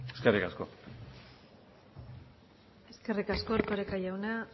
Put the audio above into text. eskerrik asko eskerrik asko erkoreka jauna